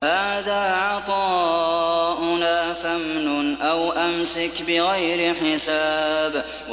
هَٰذَا عَطَاؤُنَا فَامْنُنْ أَوْ أَمْسِكْ بِغَيْرِ حِسَابٍ